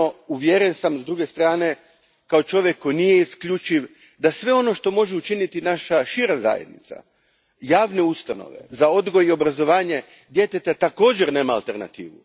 Uvjeren sam s druge strane, kao čovjek koji nije isključiv, da sve ono što može učiniti naša šira zajednica, javne ustanove za odgoj i obrazovanje djeteta, također nema alternativu.